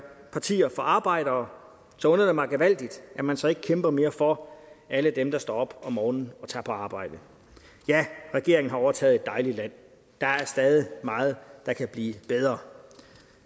partier for arbejdere så undrer det mig gevaldigt at man så ikke kæmper mere for alle dem der står op om morgenen og tager på arbejde ja regeringen har overtaget et dejligt land der er stadig meget der kan blive bedre